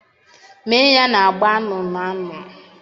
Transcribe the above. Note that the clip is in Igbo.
Mee ya na agba anụnụ anụnụ.